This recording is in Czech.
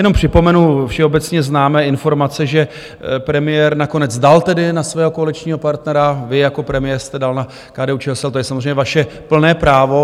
Jenom připomenu všeobecně známé informace, že premiér nakonec dal tedy na svého koaličního partnera - vy jako premiér jste dal na KDU-ČSL, to je samozřejmě vaše plné právo.